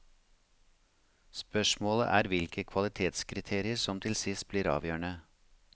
Spørsmålet er hvilke kvalitetskriterier som til sist blir avgjørende.